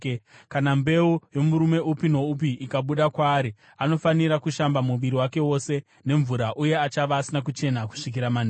“ ‘Kana mbeu yomurume upi noupi ikabuda kwaari, anofanira kushamba muviri wake wose nemvura, uye achava asina kuchena kusvikira manheru.